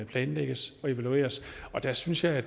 planlægges og evalueres der synes jeg